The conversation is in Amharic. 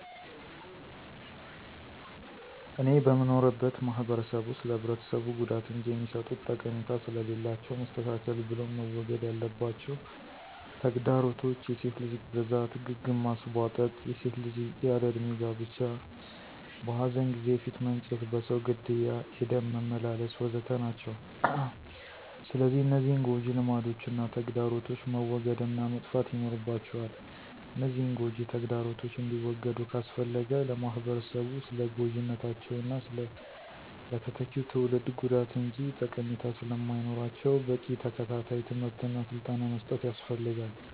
እኔ በምኖርበት ማህበረሰብ ውስጥ ለህብረተሰቡ ጉዳት እንጅ የሚሰጡት ጠቀሜታ ስለሌላቸው መስተካከል ብሎም መወገድ ያለባቸው ተግዳሮቶች፣ የሴት ልጅ ግርዛት፣ ግግ ማስቧጠጥ፣ የሴት ልጅ ያለ እድሜ ጋብቻ፣ በኃዘን ጊዜ ፊት መንጨት፣ በሰው ግድያ የደም መመላለስ፣ ወ.ዘ.ተ... ናቸው። ስለዚህ እነዚህን ጎጅ ልማዶችና ተግዳሮቶች መወገድ እና መጥፋት ይኖርባቸዋል፤ እነዚህን ጎጅ ተግዳሮቶች እንዲወገዱ ካስፈለገ ለማህበረሰቡ ስለጎጅነታቸውና ለተተኪው ትውልድ ጉዳት እንጅ ጠቀሜታ ስለማይኖራቸው በቂ ተከታታይ ትምህርት እና ስልጠና መስጠት ያስፈልጋል።